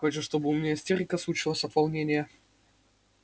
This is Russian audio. хочешь чтобы у меня истерика случилась от волнения